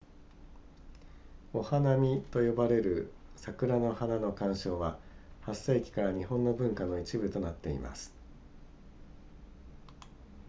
お花見と呼ばれる桜の花の鑑賞は8世紀から日本の文化の一部となっています